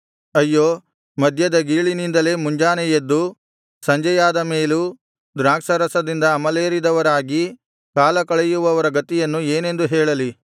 ಅಯ್ಯೋ ಮದ್ಯದ ಗೀಳಿನಿಂದಲೇ ಮುಂಜಾನೆ ಎದ್ದು ಸಂಜೆಯಾದ ಮೇಲೂ ದ್ರಾಕ್ಷಾರಸದಿಂದ ಅಮಲೇರಿದವರಾಗಿ ಕಾಲ ಕಳೆಯುವವರ ಗತಿಯನ್ನು ಏನೆಂದು ಹೇಳಲಿ